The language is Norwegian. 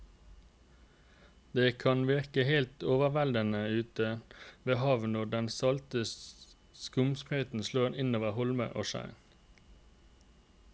Det kan virke helt overveldende ute ved havet når den salte skumsprøyten slår innover holmer og skjær.